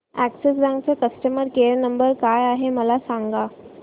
Axis bank चा customer care number काय आहे मला सांगा